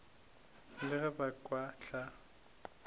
le ge ba ka hlwa